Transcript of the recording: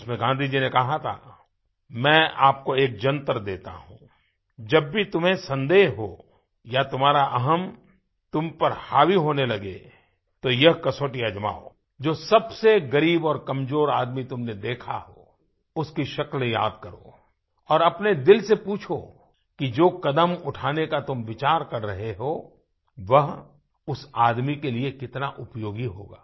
उसमें गाँधी जी ने कहा था मैं आपको एक जन्तर देता हूँ जब भी तुम्हें संदेह हो या तुम्हारा अहम् तुम पर हावी होने लगे तो यह कसौटी आजमाओ जो सबसे ग़रीब और कमज़ोर आदमी तुमने देखा हो उसकी शक्ल याद करो और अपने दिल से पूछो कि जो कदम उठाने का तुम विचार कर रहे हो वह उस आदमी के लिए कितना उपयोगी होगा